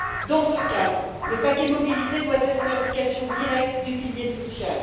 Dans ce cadre, le paquet mobilité doit être l'application directe du pilier social.